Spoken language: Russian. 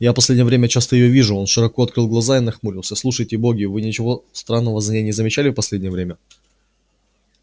я в последнее время часто её вижу он широко открыл глаза и нахмурился слушайте боги вы ничего странного за ней не замечали в последнее время